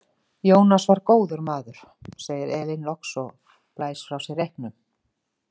Ionas var góður maður, segir Elín loks og blæs frá sér reyknum.